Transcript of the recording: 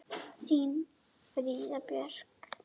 Þín Fríða Björk.